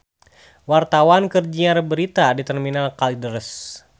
Wartawan keur nyiar berita di Terminal Kalideres